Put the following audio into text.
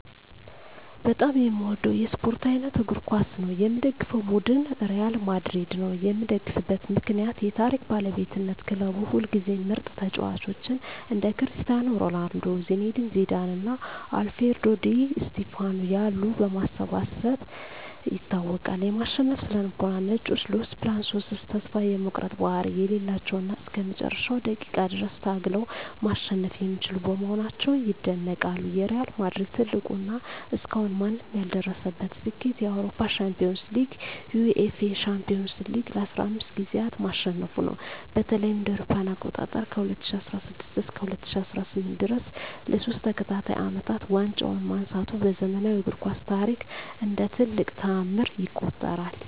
በጣም የምወደው የስፓርት አይነት እግር ኳስ ነው። የምደግፈው ቡድን ሪያል ማድሪድ ነው። የምደግፍበት ምክንያት ዠ የታሪክ ባለቤትነት ክለቡ ሁልጊዜም ምርጥ ተጫዋቾችን (እንደ ክርስቲያኖ ሮናልዶ፣ ዚነዲን ዚዳን እና አልፍሬዶ ዲ ስቲፋኖ ያሉ) በማሰባሰብ ይታወቃል። የማሸነፍ ስነ-ልቦና "ነጮቹ" (Los Blancos) ተስፋ የመቁረጥ ባህሪ የሌላቸው እና እስከ መጨረሻው ደቂቃ ድረስ ታግለው ማሸነፍ የሚችሉ በመሆናቸው ይደነቃሉ። የሪያል ማድሪድ ትልቁ እና እስካሁን ማንም ያልደረሰበት ስኬት የአውሮፓ ሻምፒዮንስ ሊግን (UEFA Champions League) ለ15 ጊዜያት ማሸነፉ ነው። በተለይም እ.ኤ.አ. ከ2016 እስከ 2018 ድረስ ለሶስት ተከታታይ አመታት ዋንጫውን ማንሳቱ በዘመናዊው እግር ኳስ ታሪክ እንደ ትልቅ ተአምር ይቆጠራል።